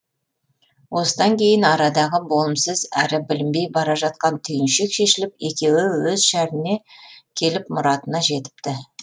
осыдан кейін арадағы болымсыз әрі білінбей бара жатқан түйіншек шешіліп екеуі өз шәріне келіп мұратына жетіпті